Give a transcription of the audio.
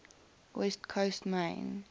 west coast main